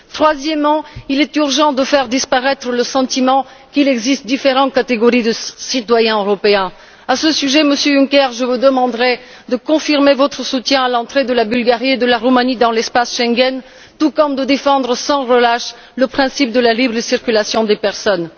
Troisièmement, il est urgent de faire disparaître le sentiment qu'il existe différentes catégories de citoyens européens. À ce sujet, Monsieur Juncker, je vous demanderai de confirmer votre soutien à l'entrée de la Bulgarie et de la Roumanie dans l'espace Schengen, et de défendre sans relâche le principe de la libre circulation des personnes.